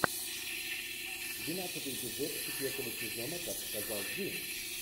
двенадцатый эпизод четвертого сезона как сказал джим